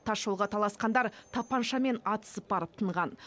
тасжолға таласқандар тапаншамен атысып барып тынған